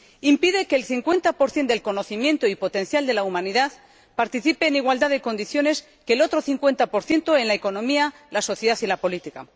Impide que el 50 del conocimiento y potencial de la humanidad participe en igualdad de condiciones con el otro 50 en la economía, la sociedad y la política.